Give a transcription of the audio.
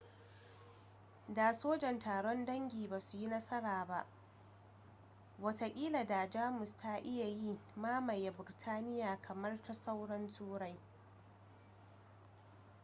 da sojan taron dangi ba su yi nasara ba watakila da jamus ta iya yi mamaye biritaniya kamar ta sauran turai